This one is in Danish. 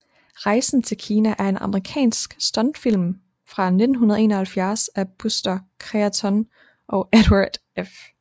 Rejsen til Kina er en amerikansk stumfilm fra 1921 af Buster Keaton og Edward F